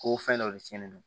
Ko fɛn dɔ de tiɲɛnen don